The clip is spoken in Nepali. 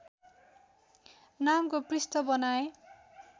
नामको पृष्ठ बनाएँ